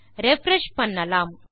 refresh பண்ணலாம்